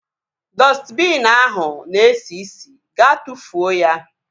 Dọstbiin ahụ na esi isi. Gaa tụfuo ya!